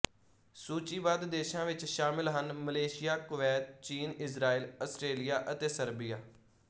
ਸੂਚੀਬੱਧ ਦੇਸ਼ਾਂ ਵਿੱਚ ਸ਼ਾਮਲ ਹਨ ਮਲੇਸ਼ੀਆ ਕੁਵੈਤ ਚੀਨ ਇਜ਼ਰਾਈਲ ਆਸਟਰੇਲੀਆ ਅਤੇ ਸਰਬੀਆ